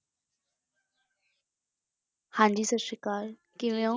ਹਾਂਜੀ ਸਤਿ ਸ੍ਰੀ ਅਕਾਲ, ਕਿਵੇਂ ਹੋ?